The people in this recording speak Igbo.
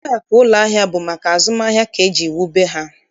Ụlọakụ ụlọahịa bụ maka azụmahịa ka e jiri wube ha.